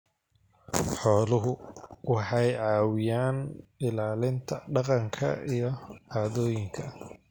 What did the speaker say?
Xooluhu waxay caawiyaan ilaalinta dhaqanka iyo caadooyinka.